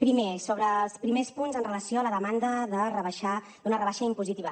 primer sobre els primers punts amb relació a la demanda d’una rebaixa impositiva